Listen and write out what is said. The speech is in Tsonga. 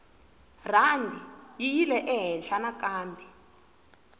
rhandi yi yile ehenhla nakambe